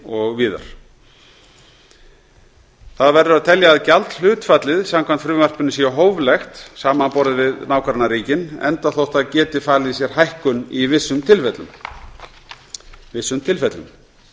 og bretlandi það verður að telja að gjaldhlutfallið samkvæmt frumvarpinu sé hóflegt samanborið við nágrannaríkin enda þótt það geti falið í sér hækkun í vissum tilfellum